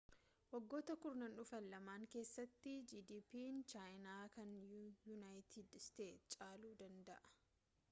waggoota kurnaan dhufaan lama keessatti gdp'n chaayinaa kan yuunayiitid isteetsi caaluu danda'a